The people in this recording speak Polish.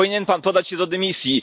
Powinien pan podać się do dymisji.